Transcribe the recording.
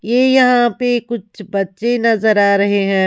ये यहां पे कुछ बच्चे नजर आ रहे हैं।